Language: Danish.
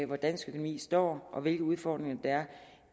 hvor dansk økonomi står og hvilke udfordringer der er